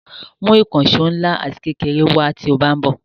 Mú ìkànṣó ńlá ati kékeré wá tí ó bá ń bò.